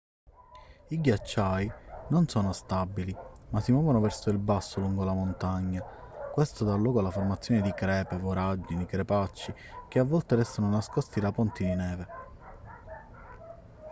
i ghiacciai non sono stabili ma si muovono verso il basso lungo la montagna questo dà luogo alla formazione di crepe voragini crepacci che a volte restano nascosti da ponti di neve